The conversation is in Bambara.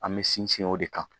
An bɛ sinsin o de kan